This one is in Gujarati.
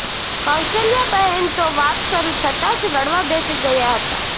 કૌશલ્યાબહેન તો વાત શરૂ થતાં જ રડવા બેસી ગયાં હતાં